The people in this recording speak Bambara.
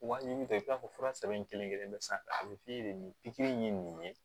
Wa i bɛ taa i bɛ taa fɔ fura sɛbɛn kelen kelen bɛɛ san a bɛ f'i ye de pikiri ye nin ye